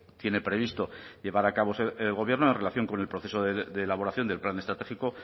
tiene previsto llevar a cabo el gobierno en relación con el proceso de elaboración del plan estratégico